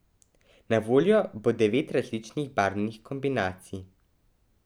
Na voljo bo devet različnih barvnih kombinacij.